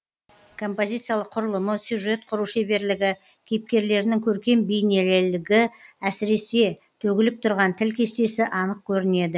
композициялық құрылымы сюжет құру шеберлігі кейіпкерлерінің көркем бейнелілігі әсіресе төгіліп тұрған тіл кестесі анық көрінеді